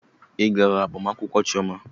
Ị gaara agbamakwụkwọ Chioma?